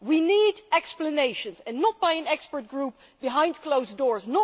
We need explanations and not by an expert group behind closed doors